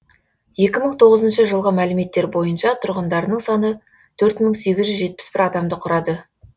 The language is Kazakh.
екі мың тоғызыншы жылғы мәліметтер бойынша тұрғындарының саны төрт мың сегіз жүз жетпіс бір адамды құрады